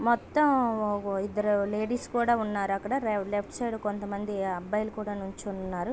మొత్తం ఇద్దరు లేడీస్ కూడా ఉన్నారు అక్కడ లెఫ్ట్ సైడ్ కొంత మంది అబ్బాయలు కూడా నించొని ఉన్నారు.